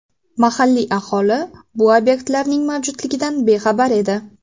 Mahalliy aholi bu obyektlarning mavjudligidan bexabar edi.